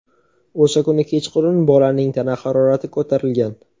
O‘sha kuni kechqurun bolaning tana harorati ko‘tarilgan.